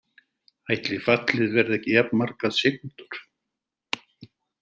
Ætli fallið verði ekki jafn margar sekúndur.